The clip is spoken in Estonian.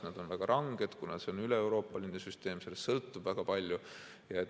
Need on väga ranged, kuna see on üleeuroopaline süsteem, sellest sõltub väga palju.